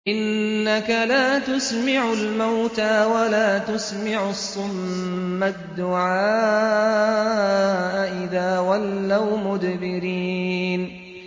إِنَّكَ لَا تُسْمِعُ الْمَوْتَىٰ وَلَا تُسْمِعُ الصُّمَّ الدُّعَاءَ إِذَا وَلَّوْا مُدْبِرِينَ